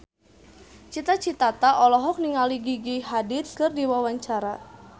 Cita Citata olohok ningali Gigi Hadid keur diwawancara